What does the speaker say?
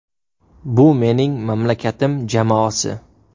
Bu mening mamlakatim jamoasi.